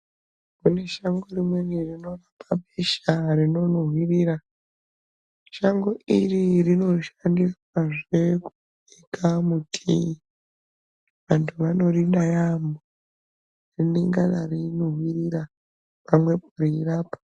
Kune shango rimweni rinorapa besha rinonuhwirira. Shango iri rinoshandiswazve kubika mutii. Vantu vanorida yaamho, rinengana reunuhwirira pamwepo reirapa.